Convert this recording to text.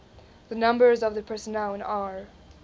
the numbers of personnel in r